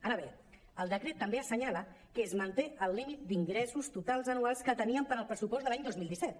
ara bé el decret també assenyala que es manté el límit d’ingressos totals anuals que teníem per al pressupost de l’any dos mil disset